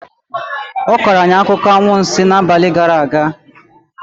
Ọ kọrọ anyị akụkọ anwansi n'abalị gara aga